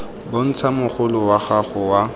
bontsha mogolo wa gago wa